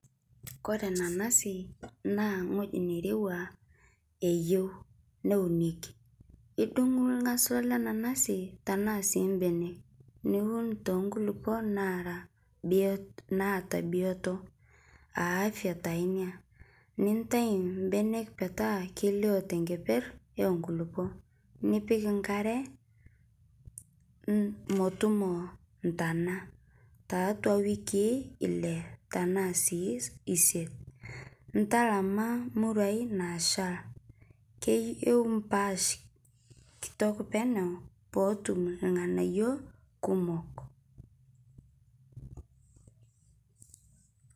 Kore nanasi naa ng'oji neirewa eyeu neunekii idung'u lenanasi tanaa sii mbenee niwun tonkulipoo naraa biot naata biotoo aa afya taa inia nintai mbenek petaa keilio tenkeper enkulipoo nipik nkaree motumoo ntanaa taatua wikii ilee tanaa sii isiet ntalama muruai nashal keyeu mpaash kitok peneu pootum lganayo kumok.